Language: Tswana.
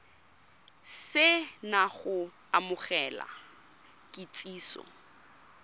se na go amogela kitsiso